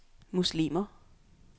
muslimer